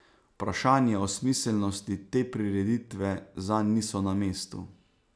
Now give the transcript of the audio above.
Vprašanja o smiselnosti te prireditve zanj niso na mestu.